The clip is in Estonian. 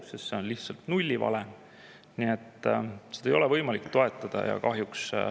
See on lihtsalt nullivalem, nii et seda ei ole võimalik toetada.